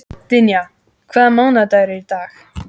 Dynja, hvaða mánaðardagur er í dag?